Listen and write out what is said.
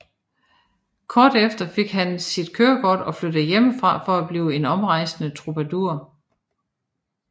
Kort efter fik han sit kørekort og flyttede hjemmefra for at blive en omrejsende troubadour